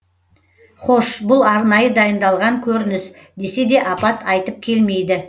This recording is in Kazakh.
хош бұл арнайы дайындалған көрініс десе де апат айтып келмейді